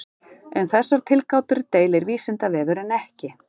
Um þessar tilgátur deilir Vísindavefurinn ekki.